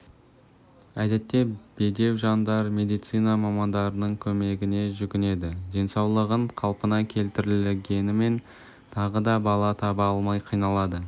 әдетте бедеу жандар медицина мамандарының көмегіне жүгінеді денсаулығын қалпына келтіргенімен тағы да бала таба алмай қиналады